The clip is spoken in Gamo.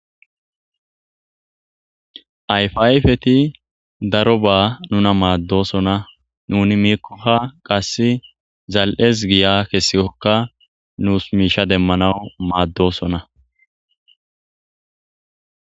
ayfa ayfeti daro ba nuna maaddosona nuni miikkokka qasse zal'es giya kessikokka nuus miisha demmanaw maaddosona